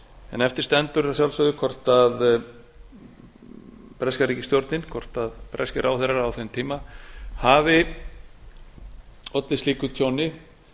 en eftir stendur að sjálfsögðu hvort breska ríkisstjórnin hvort breskir ráðherrar á þeim tíma hafi allir slíku tjóni